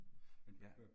Men ja